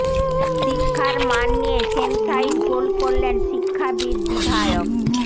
শিক্ষার মান নিয়ে সেম সাইড গোল করলেন শিক্ষাবিদ বিধায়ক